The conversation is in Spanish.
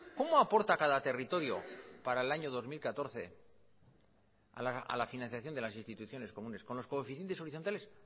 cómo aporta cada territorio para el año dos mil catorce a la financiación de las instituciones comunes con los coeficientes horizontales